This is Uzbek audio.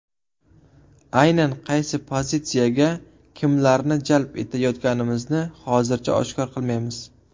Aynan qaysi pozitsiyaga kimlarni jalb etayotganimizni hozircha oshkor qilmaymiz.